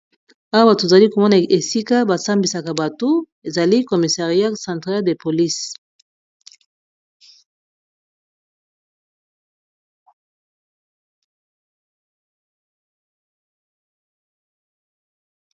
Awa tozali komona esika ba sambisaka bato ezali commissaria centrale de police.